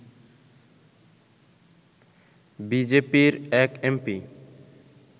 বিজেপির এক এমপি